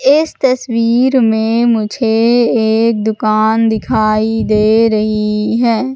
इस तस्वीर में मुझे एक दुकान दिखाई दे रहीं हैं।